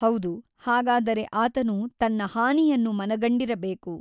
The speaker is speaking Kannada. ಹೌದು ಹಾಗಾದರೆ ಆತನು ತನ್ನ ಹಾನಿಯನ್ನು ಮನಗಂಡಿರಬೇಕು.